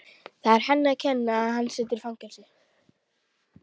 Það er henni að kenna að hann situr í fangelsi.